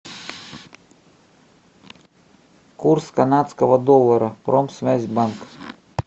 курс канадского доллара промсвязьбанк